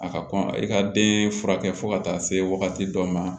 A ka kɔn i ka den furakɛ fo ka taa se wagati dɔ ma